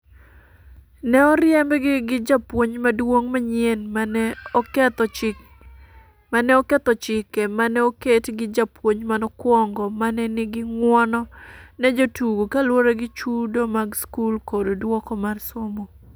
Ne oriembgi gi japuonj maduong'manyien ma ne oketho chike ma ne oket gi japuonj manokwongo ma ne nigi ng’uono ne jotugo kaluwore gi chudo mag skul kod duoko mar somo.